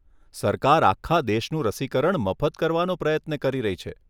સરકાર આખા દેશનું રસીકરણ મફત કરવાનો પ્રયત્ન કરી રહી છે.